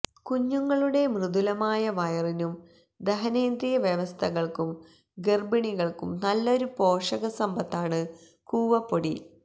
കുഞ്ഞുങ്ങളുടെ മൃദുലമായ വയറിനും ദഹനേന്ദ്രിയ വ്യവസ്ഥകള്ക്കും ഗര്ഭിണികള്ക്കും നല്ലൊരു പോഷകസമ്പത്താണ് കൂവപ്പൊടി